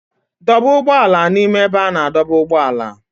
Dọba ụgbọ ala n'ime ebe a na-adọba ụgbọala.